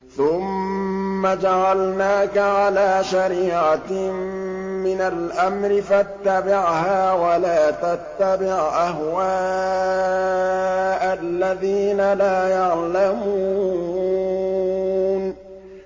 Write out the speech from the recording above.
ثُمَّ جَعَلْنَاكَ عَلَىٰ شَرِيعَةٍ مِّنَ الْأَمْرِ فَاتَّبِعْهَا وَلَا تَتَّبِعْ أَهْوَاءَ الَّذِينَ لَا يَعْلَمُونَ